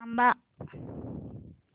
थांब